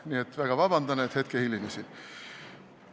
Nii et palun väga vabandust, et hetke hilinesin!